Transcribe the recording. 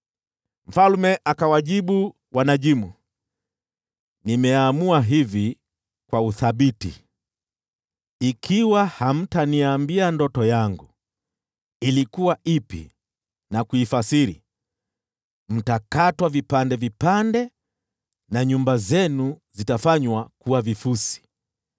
Mfalme akawajibu wanajimu, “Nimeamua hivi kwa uthabiti: Ikiwa hamtaniambia ndoto yangu ilikuwa ipi na kuifasiri, mtakatwa vipande vipande na nyumba zenu zitafanywa kuwa vifusi.